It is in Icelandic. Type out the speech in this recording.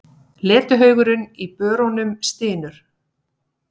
Letihaugurinn í börunum stynur.